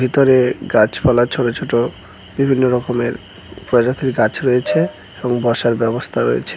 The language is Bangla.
ভিতরে গাছপালা ছোটো ছোটো বিভিন্ন রকমের প্রজাতির গাছ রয়েছে এবং বসার ব্যবস্থা রয়েছে।